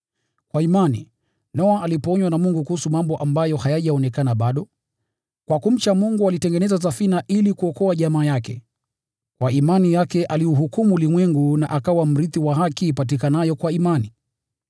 Kwa imani, Noa alipoonywa na Mungu kuhusu mambo ambayo hayajaonekana bado, kwa kumcha Mungu alitengeneza safina ili kuokoa jamaa yake. Kwa imani yake aliuhukumu ulimwengu na akawa mrithi wa haki ipatikanayo kwa imani.